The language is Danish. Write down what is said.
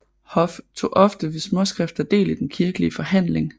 Hoff tog ofte ved småskrifter del i den kirkelige forhandling